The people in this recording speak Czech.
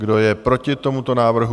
Kdo je proti tomuto návrhu?